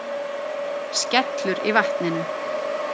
Skellur í vatninu.